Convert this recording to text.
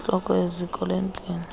intloko yeziko lempilo